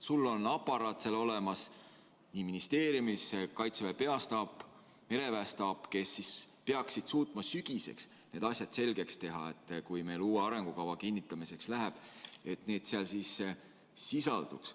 Sul on aparaat olemas ministeeriumis, Kaitseväe Peastaap ja mereväe staap, kes peaksid suutma sügiseks need asjad selgeks teha, kui uue arengukava kinnitamiseks läheb, selleks et need seal sisalduks.